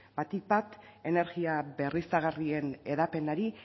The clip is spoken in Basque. batik bat energia berriztagarrien hedapenari